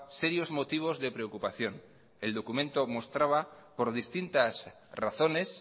serios motivos de preocupación el documento mostraba por distintas razones